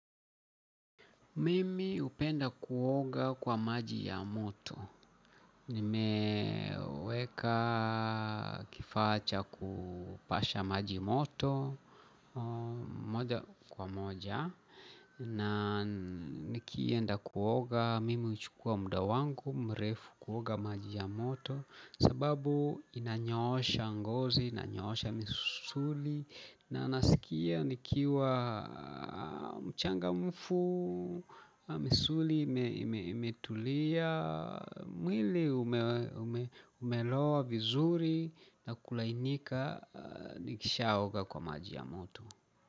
Mimi hupenda kuoga kwa maji ya moto nimeweka kifaa cha kupasha maji moto moja kwa moja na nikienda kuoga mimi huchukua muda wangu mrefu kuoga maji ya moto sababu inanyoosha ngozi, inanyoosha misuli na naskia nikiwa mchangamfu, na misuli imetulia mwili umelowa vizuri na kulainika nikishaoga kwa maji ya moto.